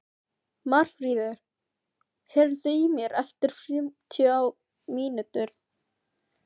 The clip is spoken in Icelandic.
Marfríður, heyrðu í mér eftir fimmtíu og níu mínútur.